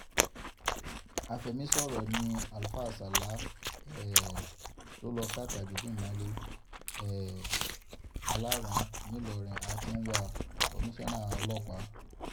afẹ̀mísọ̀rọ̀ ni àáfáà sala um tó lọ́ọ́ ka tajudeen mọ́lẹ̀ um aláràn-án nìlọrin a ti ń wá a-kọmiṣánná ọlọ́pàá